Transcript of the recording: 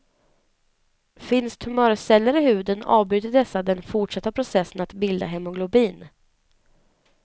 Finns tumörceller i huden avbryter dessa den fortsatta processen att bilda hemoglobin.